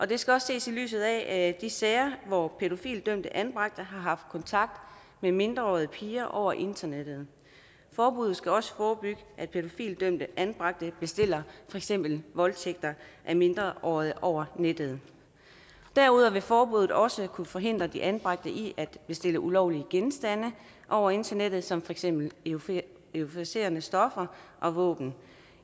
det skal også ses i lyset af de sager hvor pædofilidømte anbragte har haft kontakt med mindreårige piger over internettet forbuddet skal også forebygge at pædofilidømte anbragte bestiller for eksempel voldtægter af mindreårige over nettet derudover vil forbuddet også kunne forhindre de anbragte i at bestille ulovlige genstande over internettet som for eksempel euforiserende stoffer og våben